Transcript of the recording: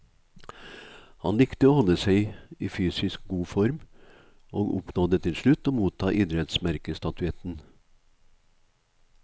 Han likte å holde seg i fysisk god form, og oppnådde til slutt å motta idrettsmerkestatuetten.